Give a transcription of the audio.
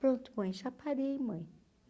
Pronto, mãe, já parei, mãe.